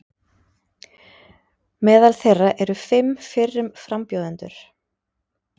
Meðal þeirra eru fimm fyrrum frambjóðendur